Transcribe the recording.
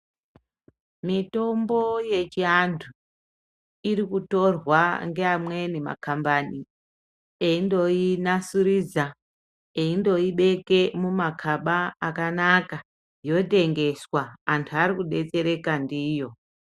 Mitombo yechiantu irikutorwa ngevamweni makambani eindoinasurudza , eindoibeke mumakaba akanaka, antu arikudetsereka ndiyo.